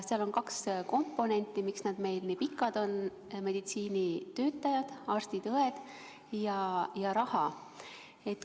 Seal on kaks komponenti, miks nad meil nii pikad on: meditsiinitöötajad, arstid ja õed, ning raha.